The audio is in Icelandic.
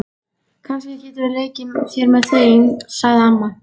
Kannski geturðu leikið þér með þeim, sagði amma.